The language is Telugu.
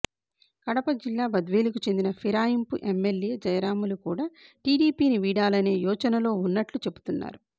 కడప జిల్లా బద్వేలుకు చెందిన ఫిరాయింపు ఎమ్మెల్యే జయ రాములు కూడా టీడీపీని వీడాలనే యోచనలో ఉన్నట్లు చెబుతున్నారు